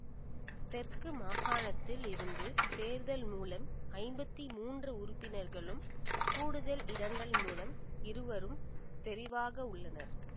தெற்கு மாகாணத்தில் இருந்து தேர்தல் மூலம் ஐம்பத்தி மூன்று உறுப்பினர்களும் கூடுதல் இடங்கள் மூலம் இருவரும் தெரிவாகவுள்ளனர்